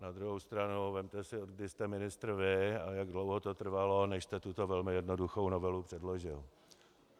Na druhou stranu - vezměte si, od kdy jste ministr vy a jak dlouho to trvalo, než jste tuto velmi jednoduchou novelu předložil.